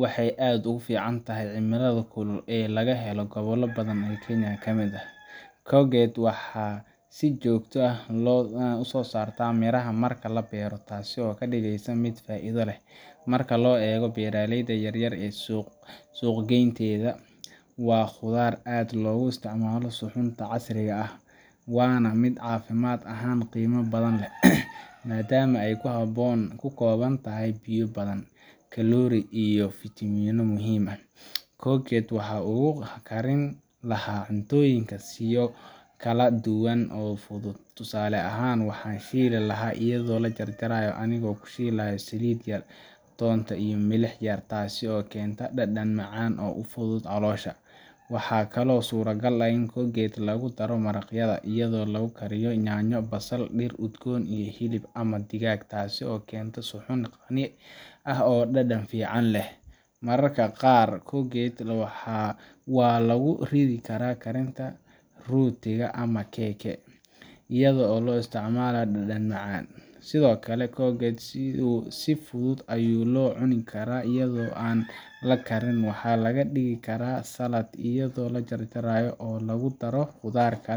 Waxay aad ugu fiican tahay cimilada kulul ee laga helo gobollo badan oo Kenya ka mid ah. courgette waxa ay si joogto ah u soo saartaa miraha marka la beero, taasoo ka dhigeysa mid faa’iido leh marka loo eego beeralayda yar-yar iyo suuqgeynteeda. Waa khudaar aad loogu isticmaalo suxuunta casriga ah, waana mid caafimaad ahaan qiimo badan leh, maadaama ay ka kooban tahay biyo badan, kaloori yar, iyo fiitamiinno muhiim ah. courgette waxaan ugu karin lahaa cuntooyinka siyo kala duwan oo fudud. Tusaale ahaan, waxaan shiili lahaa iyadoo la jarjaray, anigoo ku shiilaya saliid yar, toonta, iyo milix yar, taasoo keenta dhadhan macaan oo u fudud caloosha. Waxaa kaloo suurtagal ah in courgette lagu daro maraqyada, iyadoo lagu kariyo yaanyo, basal, dhir udgoon iyo hilib ama digaag, taasoo keenta suxuun qani ah oo dhadhan fiican leh. Mararka qaar, courgette waa lagu ridi karaa karinta rootiga ama keke , iyadoo loo isticmaalo dhadhan macaan. Sidoo kale, courgette si fudud ayaa loo cuni karaa iyadoo aan la karin. Waxa laga dhigi karaa saladh, iyadoo la jarjaro oo lagu daro khudaar kale